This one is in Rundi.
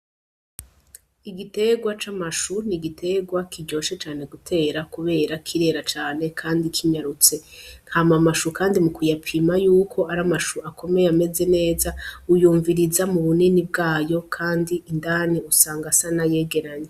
Igitegwa c'amashu n'igitegwa kiryoshe cane gutera kubera kirera cane kandi kinyarutse, hama amashu kandi mu kuyapima yuko ari amashu akomeye ameze neza uyumviriza mu bunini bwayo kandi indani usanga asa n'ayegeranye.